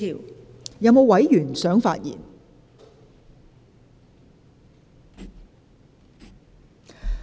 是否有委員想發言？